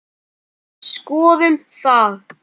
Skoðum það.